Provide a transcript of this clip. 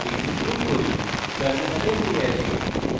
execute করি terminal ফিরে আসি